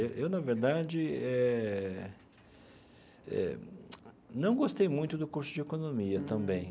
Eu eu na verdade eh, não gostei muito do curso de economia também.